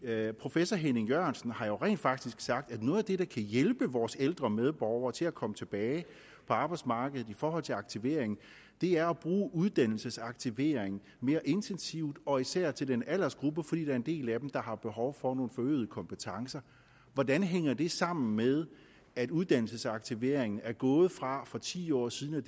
her professor henning jørgensen har jo rent faktisk sagt at noget af det der kan hjælpe vores ældre medborgere til at komme tilbage på arbejdsmarkedet i forhold til aktivering er at bruge uddannelsesaktivering mere intensivt og især til den aldersgruppe fordi der er en del af dem der har behov for nogle forøgede kompetencer hvordan hænger det sammen med at uddannelsesaktivering er gået fra for ti år siden at